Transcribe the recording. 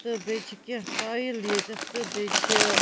.تہٕ بیٚیہِ چھ کیٚنٛہہ ٹایل ییٚتٮ۪تھ تہٕ بیٚیہِ چھ